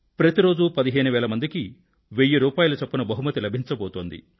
ప్రతి రోజూ 15000 మందికి వెయ్యి రూపాయిల చప్పున బహుమతి లభించబోతోంది